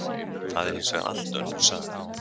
Það er hins vegar allt önnur saga.